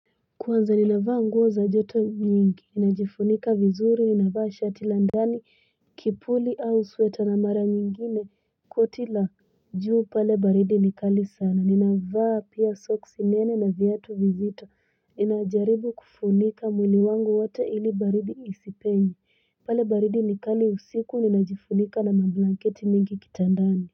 Kwanza ninavaa nguo za joto nyingi ninajifunika vizuri ninavaa shati la ndani kipuli au sweta na mara nyingine koti la juu pale baridi nikali sana ninavaa pia socks nene na viatu vizito ninajaribu kufunika mwili wangu wote ili baridi isipenye pale baridi nikali usiku ninajifunika na mablanketi mengi kitandani.